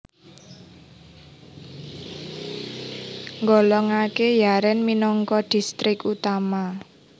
nggolongaké Yaren minangka distrik utama